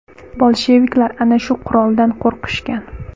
Bolsheviklar ana shu quroldan qo‘rqishgan.